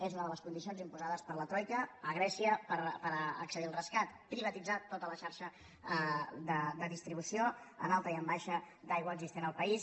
és una de les condicions imposades per la troica a grècia per accedir al rescat privatitzar tota la xarxa de distribució en alta i en baixa d’aigua existent al país